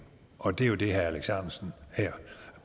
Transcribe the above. og det er jo det herre alex ahrendtsen her